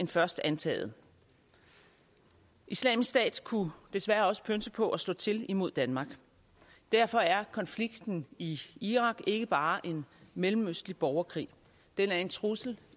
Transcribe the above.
end først antaget islamisk stat kunne desværre også pønse på at slå til imod danmark derfor er konflikten i irak ikke bare en mellemøstlig borgerkrig den er en trussel